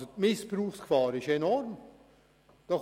Die Missbrauchsgefahr dabei ist enorm gross.